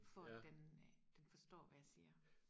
for at den den forstår hvad jeg siger